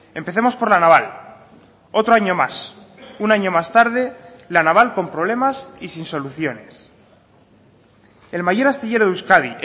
empecemos por la naval otro año más un año más tarde la naval con problemas y sin soluciones el mayor astillero de euskadi